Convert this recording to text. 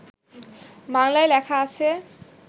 বাংলায় লেখা আছে